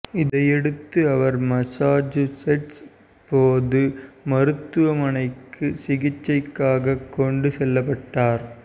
இதையடுத்து அவர் மசாசூசெட்ஸ் பொது மருத்துவமனைக்கு சிகிச்சைக்காக கொண்டு செல்லப்பட்டார்